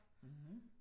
Mh